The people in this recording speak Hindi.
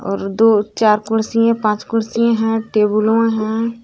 और दो चार कुर्सी हैं पांच कुर्सी है टेबुलोओ है।